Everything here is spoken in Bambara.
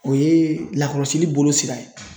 O ye lakɔlɔsili bolo sira ye.